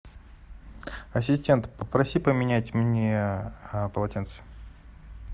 ассистент попроси поменять мне полотенце